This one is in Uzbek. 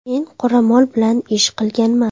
Men qoramol bilan ish qilganman.